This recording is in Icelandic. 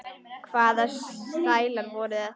Hvaða stælar voru þetta?